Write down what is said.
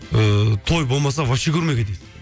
ыыы той болмаса вообще көрмей кетесің